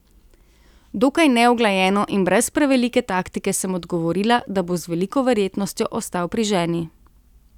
Dokaj neuglajeno in brez prevelike taktike sem odgovorila, da bo z veliko verjetnostjo ostal pri ženi.